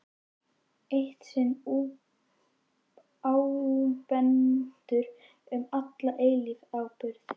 Eitt sinn ábúendur, um alla eilífð áburður.